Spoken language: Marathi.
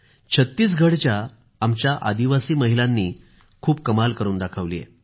छत्तीसगढच्या आमच्या आदिवासी महिलांनीही खूप कमाल करून दाखवली आहे